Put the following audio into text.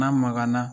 N'a magara